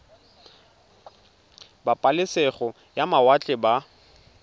ba pabalesego ya mawatle ba